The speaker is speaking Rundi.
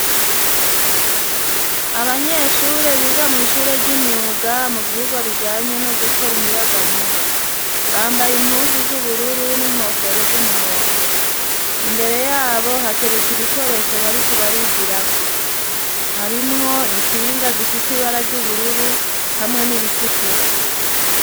abanyeshure biga mw, ishure ry'imyuga mu vyigwa bijanye no gukora umuyagankuba bambaye impunzu z'ubururu n'inkofero z'umuhondo imbere yabo hateretse ibikoresho bariko barigira ko harimwo instinga zifise ibara ry'ubururu hamwe n'iritukura